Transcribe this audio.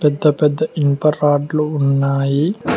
పెద్ద పెద్ద ఇనుప రాడ్లు ఉన్నాయి.